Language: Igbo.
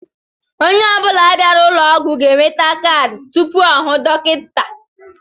Onye ọ bula bịara ụlọ ọgwụ ga-enweta kaadị tụpụ ọ hụ dọkịta.